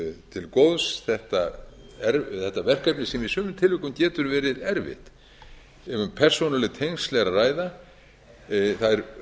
til góðs þetta verkefni sem í sumum tilvikum getur verið erfitt ef um persónuleg tengsl er að ræða það er